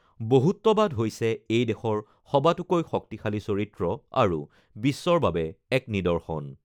বহুত্ববাদ হৈছে এই দেশৰ সবাতোকৈ শক্তিশালী চৰিত্ৰ আৰু বিশ্বৰ বাবে এক নিদৰ্শন।